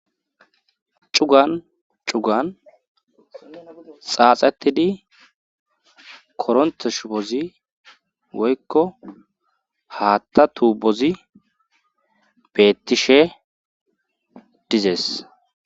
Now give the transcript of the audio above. Cugan cugan xaaxettidi koronthe shubozi woykko haatta tuubozi bettishe dizes.